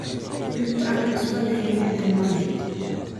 Cunto aan cusbo lahayn dhadhan ma leh.